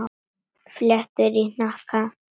Fléttur í hnakka.